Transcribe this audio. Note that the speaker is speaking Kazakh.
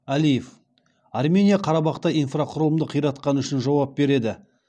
әлиев армения қарабақта инфрақұрылымды қиратқаны үшін жауап береді